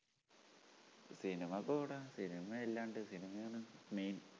സിനിമക്ക് പോവൂട സിനിമയല്ലാണ്ട് സിനിമയാണ് main